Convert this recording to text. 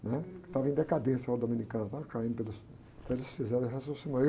né? Que estavam em decadência os dominicanos, caindo pelos, então eles fizeram o.